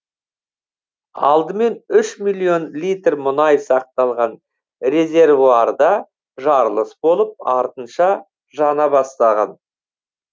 алдымен үш миллион литр мұнай сақталған резервуарда жарылыс болып артынша жана бастаған